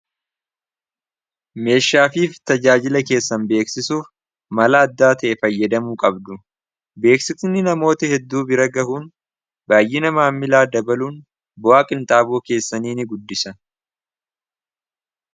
meeshaaleefi tajaajila keessan beeksisuuf mala addaa ta'e fayyadamuu qabdu beeksisni namoota hedduu bira gahuun baay'ina maamilaa dabaluun bu'aa qinxaabuu keessanii ni guddisa.